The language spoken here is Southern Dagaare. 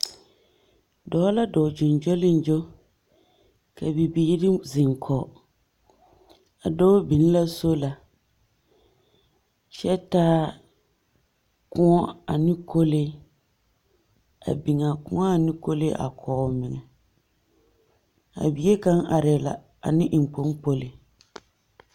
Dͻͻ la dͻͻŋ gyoŋgyoliŋgyo ka bibiiri zeŋ kͻge, a dͻͻ biŋ la sola kyԑ taa kõͻ ane kolee. A biŋԑԑ kõͻ ane a kolee kͻge omeŋԑ. A bie kaŋa arԑԑ la ane eŋkpoŋkpoli.